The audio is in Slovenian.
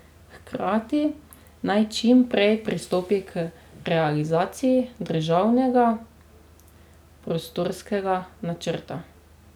Hkrati naj čim prej pristopi k realizaciji državnega prostorskega načrta.